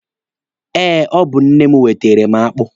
Eh, ọ bụ nne m wetere m akpụ.